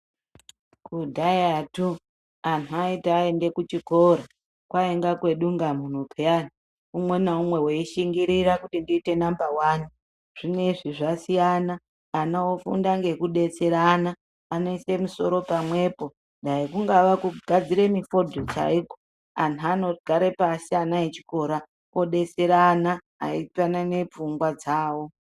Kudhayatu anhu aiti eiende kuchikora kwainga kwedungamunhu pheyani, umwe naumwe weishingirira kuti ndiite namba wani, zvinezvi zvasiyana ana ofunda ngekudetserana anoise musoro pamwepo dai kungaa kugadzira mifodho chaiko, anhu anogara pasi ana echikora odetserana eipanane pfungwa dzawo.